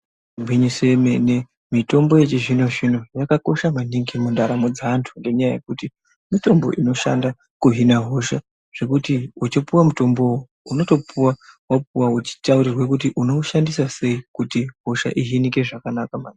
Igwinyiso remene-mene mitombo yechizvino zvino yakakosha maningi ngekuti ndaramo dzeantu ngenyaya yekuti mitombo inoshanda kuhina hosha zvekuti uchipuws mutombo unotoouwa wapuwa uchitaurirwa kuti unoushandisa sei kuti hosha ihijike zvakanaka maningi.